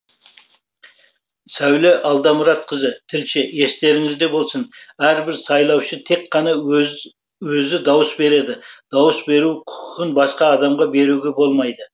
сәуле алдамұратқызы тілші естеріңізде болсын әрбір сайлаушы тек қана өзі дауыс береді дауыс беру құқығын басқа адамға беруге болмайды